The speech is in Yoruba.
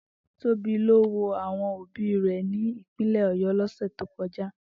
Tobi lo wo awon obi re ni ipinle Oyo losu to koja.